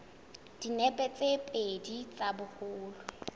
dinepe tse pedi tsa boholo